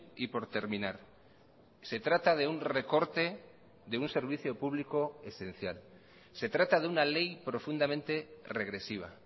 y por terminar se trata de un recorte de un servicio público esencial se trata de una ley profundamente regresiva